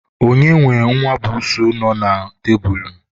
onye nwe nwa busuu nọ n'elu tebulu?